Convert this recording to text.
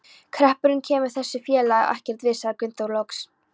Hreppurinn kemur þessu félagi ekkert við, sagði Gunnþór loks.